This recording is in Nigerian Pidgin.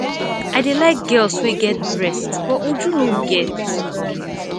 i dey like girls wey get breast but uju no get